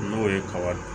N'o ye kaba ye